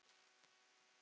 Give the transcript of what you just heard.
Hverjir verða úti?